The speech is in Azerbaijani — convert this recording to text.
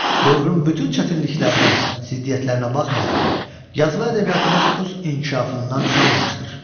Dövrün bütün çətinliklərinə, ziddiyyətlərinə baxmayaraq, yazılı ədəbiyyatımız öz inkişafından qalmamışdır.